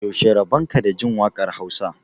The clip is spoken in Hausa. yaushe rabonka da Jin wakar Hausa